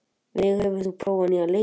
Veig, hefur þú prófað nýja leikinn?